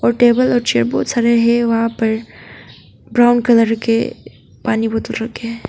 Table और chair बहुत सारे है वहां पर ब्राउन कलर के पानी बोतल रखें हैं।